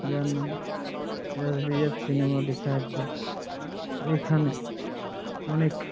যার নাম S. V .F cinema লেখা আছে এখানে অনেক --